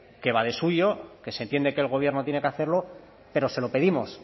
que va de suyo que se entiende que el gobierno tiene que hacerlo pero se lo pedimos